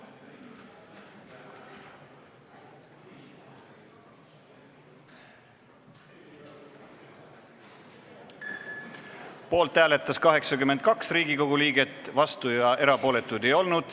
Hääletustulemused Poolt hääletas 82 Riigikogu liiget, vastuolijaid ega erapooletuid ei olnud.